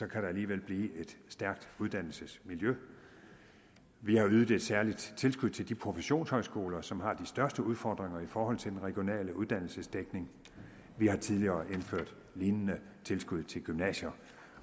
kan der alligevel blive et stærkt uddannelsesmiljø vi har ydet et særligt tilskud til de professionshøjskoler som har de største udfordringer i forhold til den regionale uddannelsesdækning vi har tidligere indført lignende tilskud til gymnasier